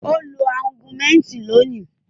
Ó lo Augumentin lónìí.